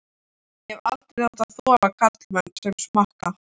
Ég hef aldrei þolað karla sem smakka.